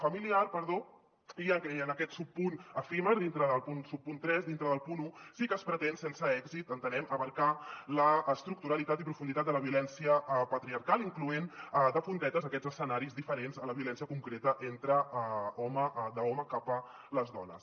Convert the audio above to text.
familiar perdó i en aquest subpunt efímer dintre del subpunt tres del punt un sí que es pretén sense èxit entenem abastar l’estructuralitat i profunditat de la violència patriarcal incloent hi de puntetes aquests escenaris diferents a la violència concreta d’home cap a les dones